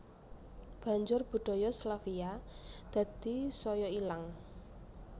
Banjur budaya Slavia dadi saya ilang